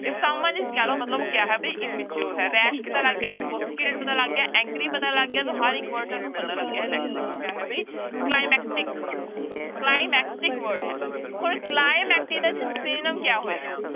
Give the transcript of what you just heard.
If someone is callow ਮਤਲਬ ਕਿਆ ਹੈ ਵੀ immature ਹੈ rash ਪਤਾ ਲੱਗ ਗਿਆ sophisticated ਪਤਾ ਲੱਗ ਗਿਆ angry ਪਤਾ ਲੱਗ ਗਿਆ ਤਾਂ ਹਰ ਇੱਕ word ਤੁਹਾਨੂੰ ਪਤਾ ਲੱਗ ਗਿਆ ਹੈ next ਦੇਖੋ ਕਿਆ ਹੈ ਵੀ climactic, climactic word ਹੈ ਹੁਣ climactic ਦਾ ਜਿਹੜਾ synonym ਕਿਆ ਹੋਏਗਾ।